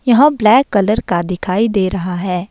यहां black colour का दिखाई दे रहा है।